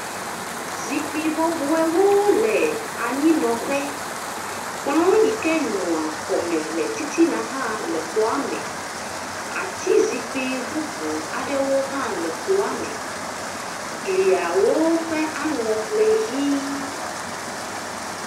Zikpui bɔbɔewo le anyi nɔ ƒe. Kplɔ yi ke nɔa xɔ me le titina hã le xɔa me. Ati zikpui bubu aɖewo hã le xɔa me. Gliwo ƒe aŋɔ le ʋie.